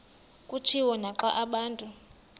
kutshiwo naxa abantu